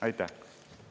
Aitäh!